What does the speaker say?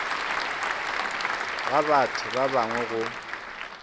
ga batho ba bangwe go